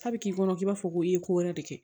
K'a bi k'i kɔnɔ k'i b'a fɔ ko e ye ko wɛrɛ de kɛ